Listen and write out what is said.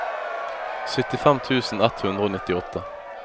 syttifem tusen ett hundre og nittiåtte